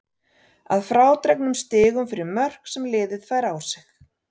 Að frádregnum stigum fyrir mörk sem liðið fær á sig.